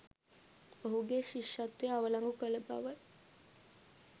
ඔහුගේ ශිෂත්වය අවලංගු කල බවයි.